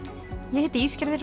ég heiti